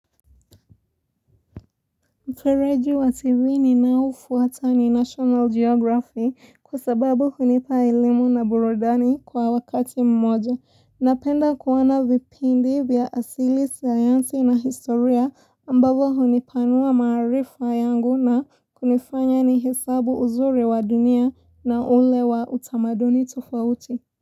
Mfereji wa TV ninaoufuata ni National Geography kwa sababu hunipa elimu na burudani kwa wakati mmoja. Napenda kuona vipindi vya asili, sayansi na historia ambavyo hunipanua maarifa yangu na kunifanya nihesabu uzuri wa dunia na ule wa utamaduni tofauti.